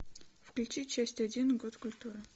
включи часть один год культуры